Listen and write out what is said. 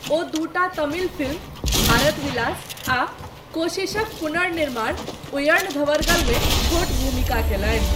ओ दूटा तमिल फिल्म, 'भारत विलास' आ कोशीशक पुनर्निर्माण 'उयर्णधवरगल' मे छोट भूमिका कयलनि।